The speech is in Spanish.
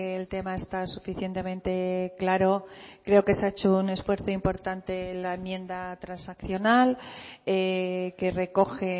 el tema está suficientemente claro creo que se ha hecho un esfuerzo importante en la enmienda transaccional que recoge